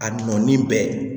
A nɔɔnin bɛɛ